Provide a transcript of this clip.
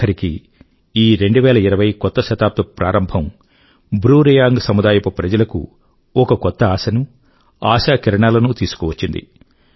ఆఖరికి ఈ 2020 కొత్త శతాబ్దపు ప్రారంభం బ్రూ రియాంగ్ సముదాయపు ప్రజలకు ఒక కొత్త ఆశనూ ఆశా కిరణాలనూ తీసుకు వచ్చింది